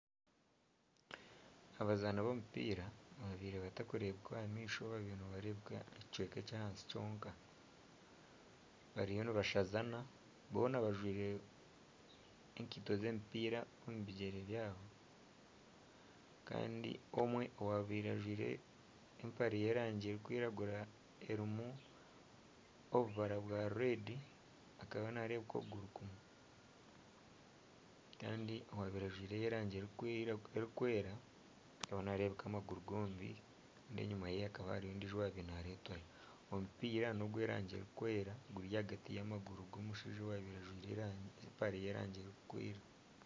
Abazaani b'omupiira ababaire batakureebeka aha maisho ababaire nibareebeka ekicweka eky; ahansi kyonka bariyo nibashazana boona bajwaire enkaito z'omupiira omu bigyere byabo kandi omwe owabaire ajwaire empare y'erangi erikwiragura erimu obubara oburikutukura akaba naarebeka okuguru kumwe. Kandi owabaire ajwaire ey'erangi erikwera naarebeka amaguru gombi kandi enyima hariyo ondiijo owabaire naaretwayo. Omupiira n'ogw'erangi erikwera guri ahagati y'amaguru g'omushaija owabaire ajwaire empare y'erangi erikwera